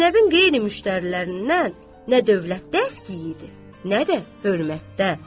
Zeynəbin qeyri-müştərilərindən nə dövlətdə əski idi, nə də hörmətdə.